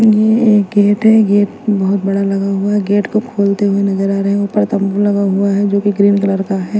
ये एक गेट है गेट बहोत बड़ा लगा हुआ है गेट को खोलते हुए नजर आ रहे हैं ऊपर तंबू लगा हुआ है जो की ग्रीन कलर का है।